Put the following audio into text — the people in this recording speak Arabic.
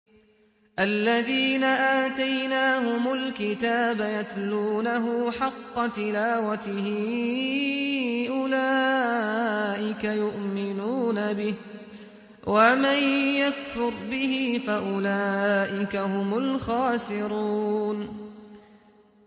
الَّذِينَ آتَيْنَاهُمُ الْكِتَابَ يَتْلُونَهُ حَقَّ تِلَاوَتِهِ أُولَٰئِكَ يُؤْمِنُونَ بِهِ ۗ وَمَن يَكْفُرْ بِهِ فَأُولَٰئِكَ هُمُ الْخَاسِرُونَ